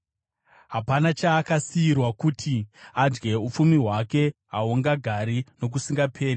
Hapana chaakasiyirwa kuti adye; upfumi hwake hahungagari nokusingaperi.